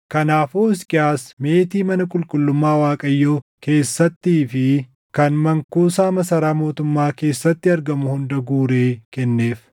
Kanaafuu Hisqiyaas meetii mana qulqullummaa Waaqayyoo keessattii fi kan mankuusaa masaraa mootummaa keessatti argamu hunda guuree kenneef.